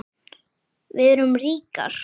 Við erum ríkar